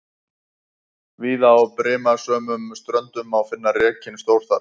Víða á brimasömum ströndum má finna rekinn stórþara.